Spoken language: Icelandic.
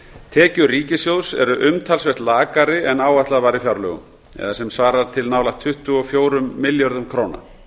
tekjur ríkissjóðs eru umtalsvert lakari en áætlað var í fjárlögum sem svarar til nálægt tuttugu og fjórum milljörðum króna